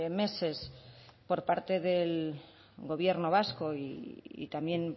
meses por parte del gobierno vasco y también